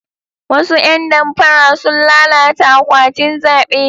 Wasu ya damfara sun lalata akwatin zabe.